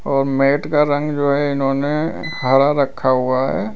और मैट का रंग जो है इन्होंने हरा रखा हुआ है।